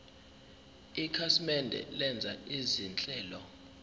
ikhasimende lenza izinhlelo